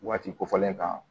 Waati kofɔlen kan